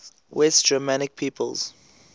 west germanic peoples